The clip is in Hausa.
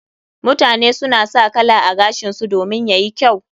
Mutane suna sa kala a gashinsu domin yayi kyau.